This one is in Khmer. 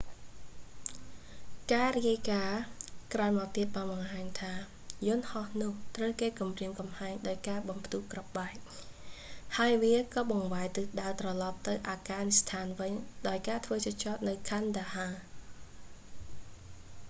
ការរាយការណ៍ក្រោយមកទៀតបានបង្ហាញថា យន្ដហោះនោះត្រូវគេគំរាមកំហែងដោយការបំផ្ទុះគ្រាប់បែក ហើយវាក៏បង្វែរទិសដៅត្រឡប់ទៅអាហ្វហ្កានីស្ថានវិញ ដោយធ្វើការចុះចតនៅ kandahar កាន់ដាហា